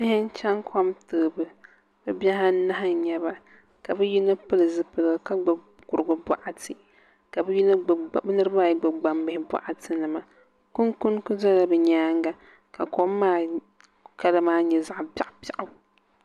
Bihi n chɛni kom toobu bi bihi anahi n nyɛba ka bi yino pili zipiligu ka gbubi kurigu bokati ka bi niraba ayi gbubi gbambihi boɣati nima kunkuni ku dola bi nyaanga ka kom maa kala maa nyɛ zaɣ biɛɣu biɛɣu